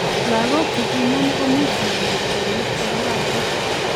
Lagok chekinam ko much manyor kelyek che kororon.